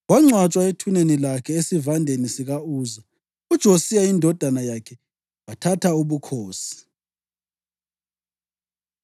Wangcwatshwa ethuneni lakhe, esivandeni sika-Uza. UJosiya indodana yakhe wathatha ubukhosi.